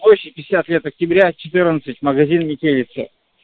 площать пятьдесят лет октября четырнадцать магазин метелица